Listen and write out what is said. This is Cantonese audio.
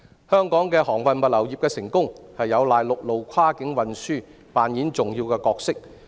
香港航運物流業的成功有賴陸路跨境運輸擔當重要的角色。